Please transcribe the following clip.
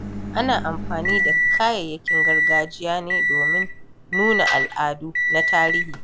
Ana amfani da kayayyakin gargajiya ne domin nuna al'adu da tarihi.